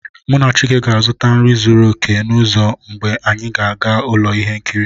Mụ na chike ga-azụta nri zuru oke n'ụzọ mgbe anyị ga-aga ụlọ ihe nkiri